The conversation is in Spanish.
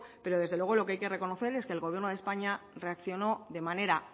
pero desde luego lo que hay que reconocer es que el gobierno de españa reaccionó de manera